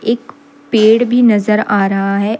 एक पेड़ भी नजर आ रहा है।